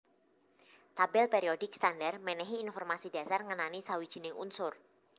Tabèl périodik standar mènèhi informasi dhasar ngenani sawijining unsur